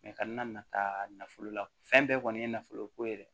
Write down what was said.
ka na na taa nafolo la fɛn bɛɛ kɔni ye nafoloko ye dɛ